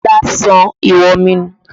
Ọlá sọ ìwọ̀n mi nù